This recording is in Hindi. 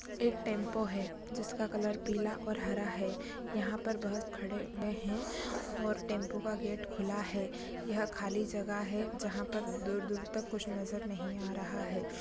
एक टेम्पो है जिसका कलर पीला और हरा है यहाँ पर बहुत खड़े हुए है और टेम्पो का गेट खुला है यह खाली जगह है जहां पर दूर-दूर तक कुछ नजर नहीं आ रहा है ।